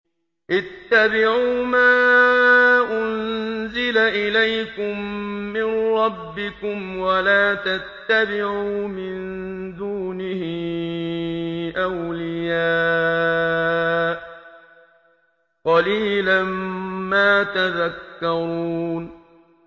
اتَّبِعُوا مَا أُنزِلَ إِلَيْكُم مِّن رَّبِّكُمْ وَلَا تَتَّبِعُوا مِن دُونِهِ أَوْلِيَاءَ ۗ قَلِيلًا مَّا تَذَكَّرُونَ